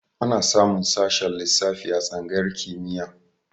Ana samun sashen lissafi a tsangayar kimiyya.